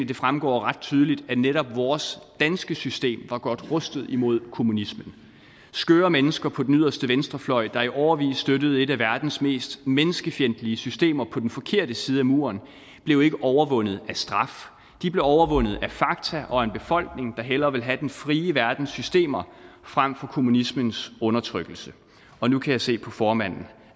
det fremgår ret tydeligt at netop vores danske system var godt rustet imod kommunismen skøre mennesker på den yderste venstrefløj der i årevis støttede et af verdens mest menneskefjendtlige systemer på den forkerte side af muren blev ikke overvundet af straf de blev overvundet af fakta og en befolkning der hellere ville have den frie verdens systemer frem for kommunismens undertrykkelse og nu kan jeg se på formanden